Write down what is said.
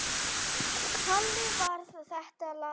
Þannig varð þetta lag til.